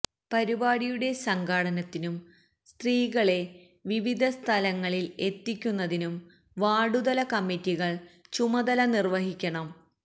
പരിപാടിയുടെ സംഘാടനത്തിനും സ്ത്രീകളെ വിവിധ സ്ഥലങ്ങളില് എത്തിക്കുന്നതിനും വാര്ഡുതല കമ്മിറ്റികള് ചുമതല നിര്വഹിക്കണം